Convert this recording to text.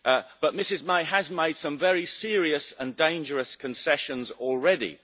But Mrs May has made some very serious and dangerous concessions already.